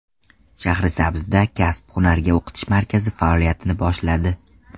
Shahrisabzda Kasb-hunarga o‘qitish markazi faoliyatini boshladi.